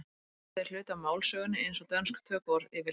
orðið er hluti af málsögunni eins og dönsk tökuorð yfirleitt